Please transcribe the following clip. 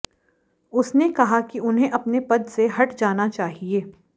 उसने कहा कि उन्हें अपने पद से हट जाना चाहिए